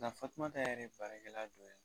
Nka Fatumata yɛrɛ ye baarakɛla dɔ ye.